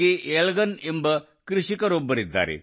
ಎಳಿಲನ್ ಎಂಬ ಕೃಷಿಕರೊಬ್ಬರಿದ್ದಾರೆ